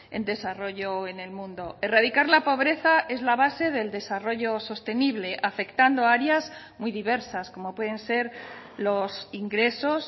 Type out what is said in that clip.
en desarrollo en el mundo erradicar la pobreza es la base del desarrollo sostenible afectando áreas muy diversas como pueden ser los ingresos